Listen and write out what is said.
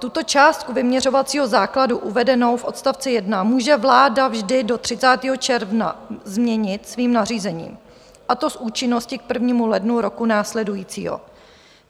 Tuto částku vyměřovacího základu uvedenou v odst. 1 může vláda vždy do 30. června změnit svým nařízením, a to s účinností k 1. lednu roku následujícího.